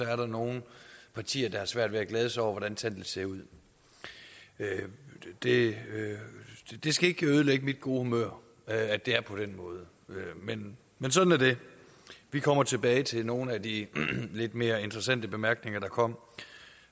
er der nogle partier der har svært ved at glæde sig over hvordan tallene ser ud det skal ikke ødelægge mit gode humør at det er på den måde men men sådan er det vi kommer tilbage til nogle af de lidt mere interessante bemærkninger der kom